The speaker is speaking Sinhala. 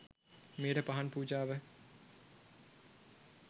මෙයට පහන් පූජාව